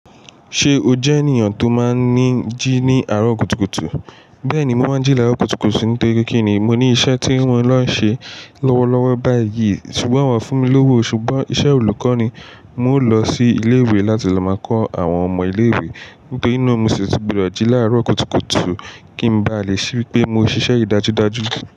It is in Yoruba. Ṣé o jẹ́ ènìyàn tó máa ń ni jí ní àárọ̀ kùtùkùtù? Bẹ́ẹ̀ni, mo máa ń jí ní àárọ̀ kùtùkùtù. Nítorí pe kí ni? Mo ní iṣẹ́ tí mo ló ń ṣe lọ́wọ́lọ́wọ́ báyìí. Ṣùgbọ́n wọ́n fún mi lówó. Ṣùgbọ́n iṣẹ́ olùkọ́ ni. Mo ń lọ sí ilé-ìwé láti lọ máa kọ́ àwọn ọmọ ilé-ìwé. Nítorí náà mo sì ti gbodo jí láàárọ̀ kùtùkùtù kí n ba lè rí pé mo ṣiṣẹ́ yii dájúdájú.